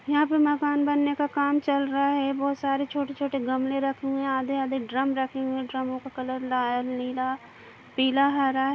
यहाँ पे मकान बनने का कम चल रहा है बहुत सारे छोटे - छोटे गमले रखे हुए है आधे - आधे ड्रम रखे हुए है ड्रमो का कलर लाल नीला पिला हरा --